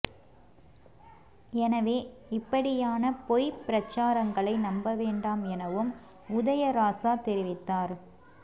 எனவே இப்படியான பொய் பிரச்சாரங்களை நம்ப வேண்டாம் எனவும் உதயராசா தெரிவித்தார்